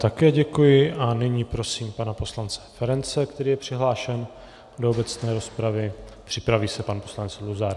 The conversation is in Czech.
Také děkuji a nyní prosím pana poslance Ferance, který je přihlášen do obecné rozpravy, připraví se pan poslanec Luzar.